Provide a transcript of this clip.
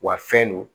Wa fɛn don